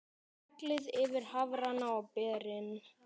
Hellið yfir hafrana og berin.